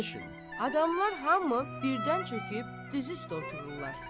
Adamlar hamı birdən çöküb, düz üstə otururlar.